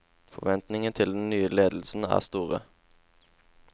Forventningene til den nye ledelsen er store.